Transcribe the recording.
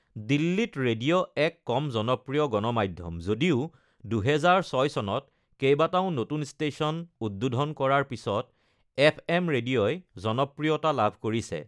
দিল্লীত ৰেডিঅ' এক কম জনপ্ৰিয় গণ মাধ্যম, যদিও ২০০৬ চনত কেইবাটাও নতুন ষ্টেচন উদ্বোধন কৰাৰ পিছত এফএম ৰেডিঅ'ই জনপ্ৰিয়তা লাভ কৰিছে।